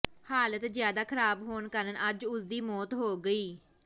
ਹਾਲਤ ਜ਼ਿਆਦਾ ਖਰਾਬ ਹੋਣ ਕਾਰਨ ਅੱਜ ਉਸ ਦੀ ਮੌਤ ਹੋ ਗਈ